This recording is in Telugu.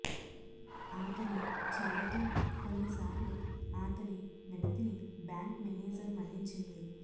ఆతని చొరవతో కొన్నిసార్లు ఆతని వినతిని బ్యాంకు మేనేజర్ మన్నించింది